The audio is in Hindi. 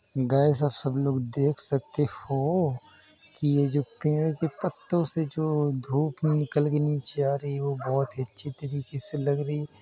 गाइस आप सब लोग देख सकते हो ओ की ये जो पेड़ के पत्तों से जो धूप निकल के नीचे आ रही है वो बहुत ही अच्छे तरीके से लग रही है।